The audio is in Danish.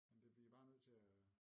Men det bliver I bare nødt til at